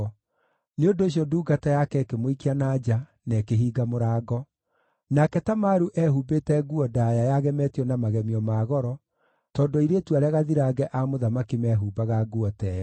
Nĩ ũndũ ũcio ndungata yake ĩkĩmũikia na nja, na ĩkĩhinga mũrango. Nake Tamaru eehumbĩte nguo ndaaya yagemetio na magemio ma goro, tondũ airĩtu arĩa gathirange a mũthamaki meehumbaga nguo ta ĩyo.